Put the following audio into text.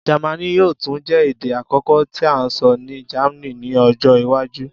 Jẹmánì yoo tun jẹ ede akọkọ ti a sọ ni Germany ni ọjọ iwaju.